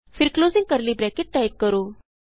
ਫਿਰ closing curly bracket type ਕਰੋ